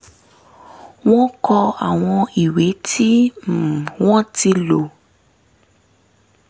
wọ́n kó àwọn ìwé tí um wọ́n ti lò